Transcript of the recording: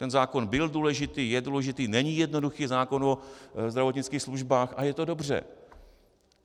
Ten zákon byl důležitý, je důležitý, není jednoduchý, zákon o zdravotnických službách - a je to dobře.